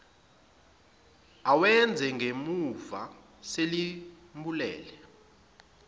awenze ngemumva selimbulele